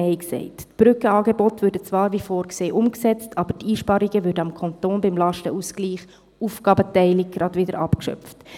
Die Brückenangebote würden zwar, wie vorgesehen, umgesetzt, aber die Einsparungen würden beim Kanton beim Lastenausgleich «Neue Aufgabenteilung» gleich wieder abgeschöpft.